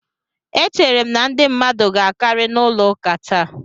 E chere m na ndị mmadu ga akari n'ulo ụka taa